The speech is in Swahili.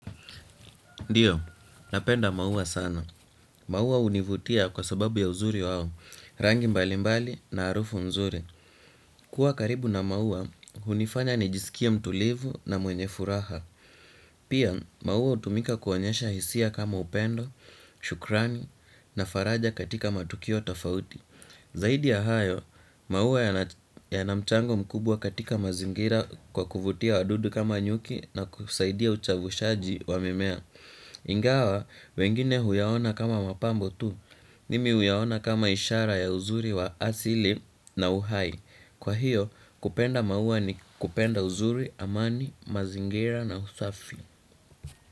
Ndiyo, napenda maua sana. Maua hunivutia kwa sababu ya uzuri wao, rangi mbali mbali na harufu nzuri. Kuwa karibu na maua, hunifanya nijisikia mtulivu na mwenye furaha. Pia, maua hutumika kuonyesha hisia kama upendo, shukrani na faraja katika matukio tofauti. Zaidi ya hayo, maua yana mchango mkubwa katika mazingira kwa kuvutia wadudu kama nyuki na kusaidia uchavushaji wa mimea. Ingawa wengine huyaona kama mapambo tu mimi huyaona kama ishara ya uzuri wa asili na uhai. Kwa hiyo kupenda maua ni kupenda uzuri, amani, mazingira na usafi.